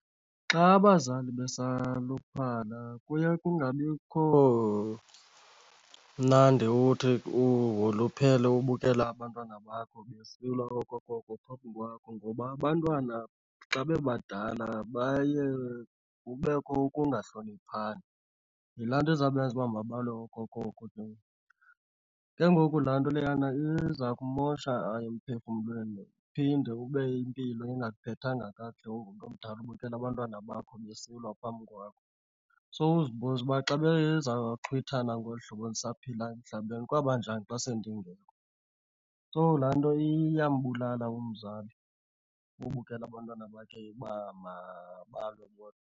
Xa abazali besaluphala kuye kungabikho mnandi uthi uwoluphele ubukela abantwana bakho besilwa okokoko phambi kwakho. Ngoba abantwana xa bebadala baye kubekho ukungahloniphani, yilaa nto izabenza uba mabalwe okokoko ke le. Ke ngoku laa nto leyana iza kumosha emphefumlweni uphinde ube impilo ingakuphethanga kakuhle ungumntu omdala ubukela abantwana bakho besilwa phambi kwakho. Sowuzibuza uba xa bezawuxhwithana ngolu hlobo ndisaphila emhlabeni kwawuba njani xa sendingekho. So laa nto iyambulala umzali ubukela abantwana bakhe uba mabalwe bodwa.